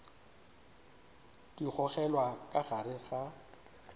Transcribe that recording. di gogelwa ka gare ga